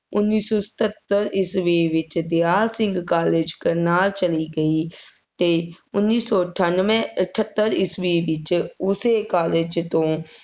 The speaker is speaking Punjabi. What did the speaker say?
ਉੱਨੀ ਸੌ ਸਤੱਤਰ ਈਸਵੀ ਵਿੱਚ ਦਿਆਲ ਸਿੰਘ college ਕਰਨਾਲ ਚਲੀ ਗਈ, ਅਤੇ ਉੱਨੀ ਸੌ ਅਠਾਨਵੇਂ ਅਠੱਤਰ ਈਸਵੀ ਵਿੱਚ ਉਸੇ college ਤੋਂ